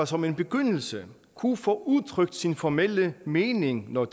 som en begyndelse kunne få udtrykt sin formelle mening når